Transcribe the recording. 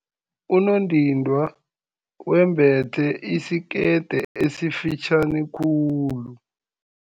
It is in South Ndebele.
Unondindwa wembethe isikete esifitjhani khulu.